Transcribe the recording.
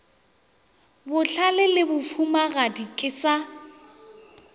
bohlale le bahumagadi ke sa